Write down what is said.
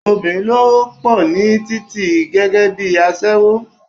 Obìnrin ló pò ní títì gẹ́gẹ́bí aṣẹ́wó.